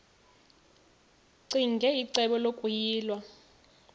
ccinge icebo lokuyilwa